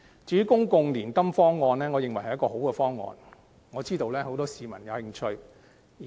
至於公共年金計劃方案，我認為是好的方案，我知道很多市民對計劃有興趣。